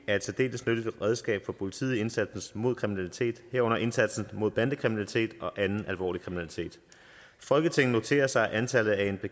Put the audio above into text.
er et særdeles nyttigt redskab for politiet i indsatsen mod kriminalitet herunder indsatsen mod bandekriminalitet og anden alvorlig kriminalitet folketinget noterer sig at antallet af